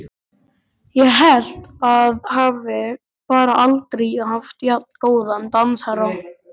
Ég held ég hafi bara aldrei haft jafn góðan dansherra!